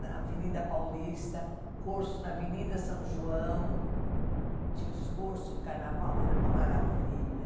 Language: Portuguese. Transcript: na Avenida Paulista, cursos na Avenida São João, tinha os cursos do carnaval, era uma maravilha.